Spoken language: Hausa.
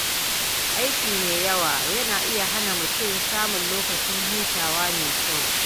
Aiki mai yawa yana iya hana mutum samun lokacin hutu mai kyau.